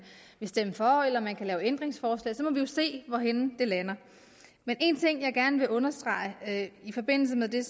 vil stemme for eller man kan stille ændringsforslag og se hvorhenne det lander men en ting jeg gerne vil understrege i forbindelse med det